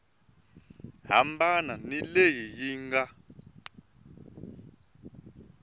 hambana ni leyi yi nga